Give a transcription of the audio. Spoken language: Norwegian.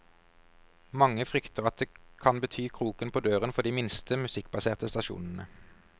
Mange frykter at det kan bety kroken på døren for de minste, musikkbaserte stasjonene.